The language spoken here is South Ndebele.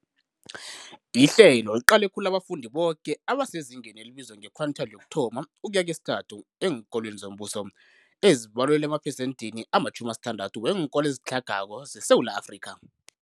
Ihlelo liqale khulu abafundi boke abasezingeni elibizwa nge-quintile 1-3 eenkolweni zombuso, ezibalelwa emaphesenthini ama- 60 weenkolo ezitlhagako zeSewula Afrika.